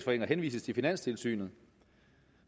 henvises til finanstilsynet